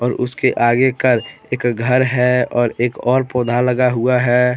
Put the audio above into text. और उसके आगे का एक घर है और एक और पौधा लगा हुआ है।